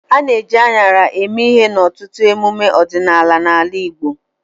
A na-eji aṅara eme ihe n'ọtụtụ emume ọdịnala n'ala Igbo.